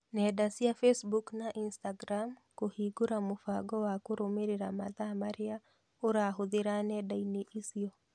Nenda cia Facebook na Instagram kũhingũra mũbango wa kũrũmĩrĩra mathaa marĩa ũrahũthĩra nenda-inĩ icio.